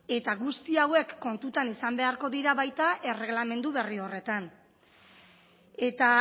eta guzti hauek kontuan izan beharko dira baita erregelamendu berri horretan eta